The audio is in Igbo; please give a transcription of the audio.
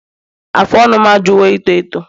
Afụ ọnụ m ajụwo ito eto